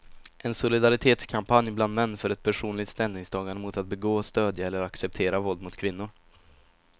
En solidaritetskampanj bland män för ett personligt ställningstagande mot att begå, stödja eller acceptera våld mot kvinnor.